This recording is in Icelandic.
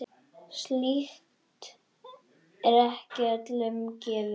Slíkt er ekki öllum gefið.